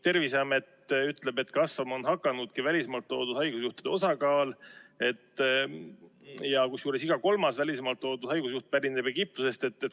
Terviseamet ütleb, et kasvama ongi hakanud välismaalt toodud haigusjuhtude osakaal, kusjuures iga kolmas välismaalt toodud haigusjuht pärineb Egiptusest.